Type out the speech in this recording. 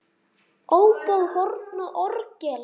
Óbó, horn og orgel.